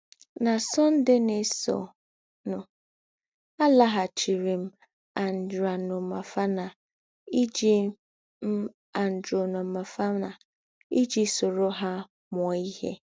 Na Sunday na - èsọ̀nụ̀, àlàghàchìrì m Andranomafana ìjì m Andranomafana ìjì sòrò hà mūọ̀ ìhè.